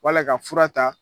Wala ka fura ta.